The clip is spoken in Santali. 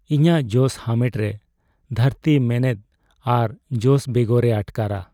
ᱤᱧᱟᱹᱜ ᱡᱚᱥ ᱦᱟᱢᱮᱴ ᱨᱮ ᱫᱷᱟᱹᱨᱛᱤ ᱢᱮᱱᱮᱫ ᱟᱨ ᱡᱚᱥ ᱵᱮᱜᱚᱨᱮ ᱟᱴᱠᱟᱨᱟ ᱾